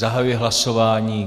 Zahajuji hlasování.